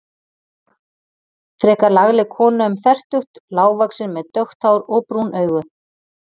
Frekar lagleg kona um fertugt, lágvaxin með dökkt hár og brún augu.